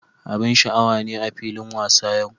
Abin sha'awa ne a filin wasa yau.